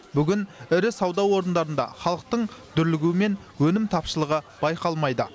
бүгін ірі сауда орындарында халықтың дүрлігуі мен өнім тапшылығы байқалмайды